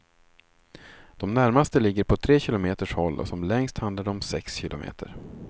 De närmaste ligger på tre kilometers håll och som längst handlar det om sex kilometer.